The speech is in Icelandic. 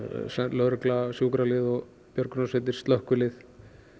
lögregla sjúkralið björgunarsveitir og slökkvilið